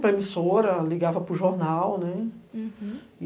Para emissora, ligava para o jornal, né?